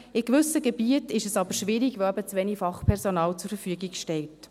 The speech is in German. In gewissen Gebieten ist es aber schwierig, weil eben zu wenig Fachpersonal zur Verfügung steht.